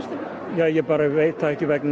ég bara veit það ekki vegna